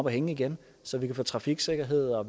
at hænge igen så vi kan få trafiksikkerhed og